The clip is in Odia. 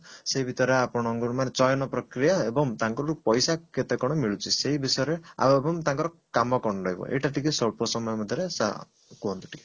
ସେଇ ଭିତରେ ଆପଣଙ୍କର ମାନେ ଚୟନ ପ୍ରକ୍ରିୟା ଏବଂ ତାଙ୍କଠୁ ପଇସା କେତେ କଣ ମିଳୁଛି ସେଇ ବିଷୟରେ ଆଉ ଏବଂ ତାଙ୍କର କାମ କଣ ରହିବ ଏଇଟା ଟିକେ ସ୍ୱଳ୍ପ ସମୟ ମଧ୍ୟରେ ସା କୁହନ୍ତୁ ଟିକେ